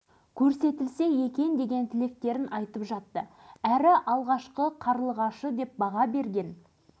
міне дәл осы тұста маңғыстау түбегінде әлемдік сұранысқа ие неше түрлі аяқ киімдер шығара бастаған ақбөбек фабрикасы аяғынан